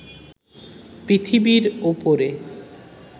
পৃথিবীর উপরে